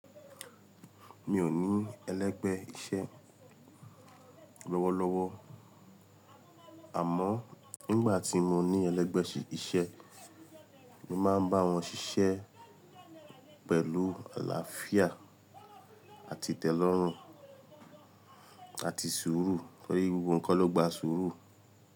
Mi ò ní ẹlẹ́gbẹ́ iṣẹ́ lọ́wọ́lọ́wọ́. Àmọ́ nígbà tí mo ní ẹlẹ́gbẹ́ iṣẹ́, mo máa ń bá wọn ṣiṣẹ́ pẹ̀lú àlàáfíà àti itẹ́lọ́rùn àti sùúrù tórí gbogbo nnkan tó gba sùúrù.